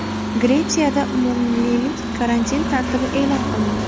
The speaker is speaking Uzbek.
Gretsiyada umummilliy karantin tartibi e’lon qilindi.